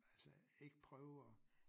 Altså ikke prøve at